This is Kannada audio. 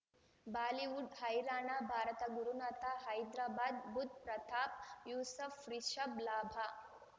ಬಾಲಿವುಡ್ ಹೈರಾಣ ಭಾರತ ಗುರುನಾಥ ಹೈದ್ರಾಬಾದ್ ಬುಧ್ ಪ್ರತಾಪ್ ಯೂಸುಫ್ ರಿಷಬ್ ಲಾಭ